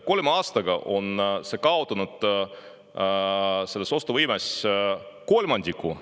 Kolme aastaga on see toetus kaotanud ostuvõimest kolmandiku.